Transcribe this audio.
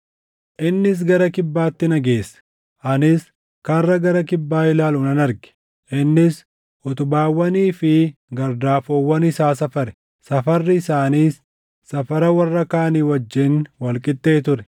Innis gara kibbaatti na geesse; anis karra gara kibbaa ilaalu nan arge. Innis utubaawwanii fi gardaafoowwan isaa safare; safarri isaaniis safara warra kaanii wajjin wal qixxee ture.